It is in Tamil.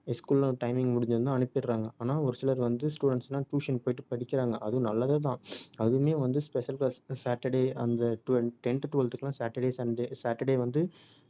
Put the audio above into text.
school லாம் timing முடிஞ்சதுமே அனுப்பிடுறாங்க. ஆனால் ஒரு சிலர் வந்து students லாம் tuition போயிட்டு படிக்கிறாங்க அதுவும் நல்லது தான் அதுவுமே வந்து special class இப்ப saturday அந்த twelve~ tenth twelveth க்குலாம் saturday sunday saturday வந்து